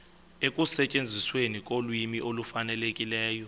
ekusetyenzisweni kolwimi olufanelekileyo